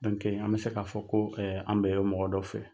an bɛ se k'a fɔ ko an bɛ o mɔgɔ dɔ fɛ.